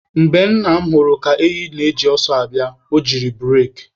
Mgbe Nna m hụrụ ka ehi ahụ ji ọsọ abịa, o jiri bureki.